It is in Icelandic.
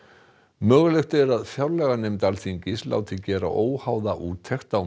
mögulegt er að fjárlaganefnd Alþingis láti gera óháða úttekt á